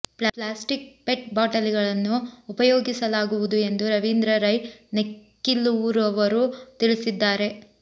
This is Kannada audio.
ಪ್ಲಾಸ್ಟಿಕ್ ಪೆಟ್ ಬಾಟಲಿಗಳನ್ನು ಉಪಯೋಗಿಸಲಾಗುವುದು ಎಂದು ರವೀಂದ್ರ ರೈ ನೆಕ್ಕಿಲುರವರು ತಿಳಿಸಿದ್ದಾರೆ